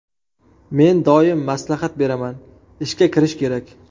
Men doim maslahat beraman, ishga kirish kerak.